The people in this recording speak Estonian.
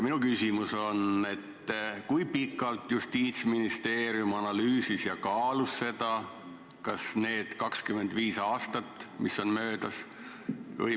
Minu küsimus: kui pikalt Justiitsministeerium seda analüüsis ja kaalus – kas kõik need 25 aastat, mis on möödas?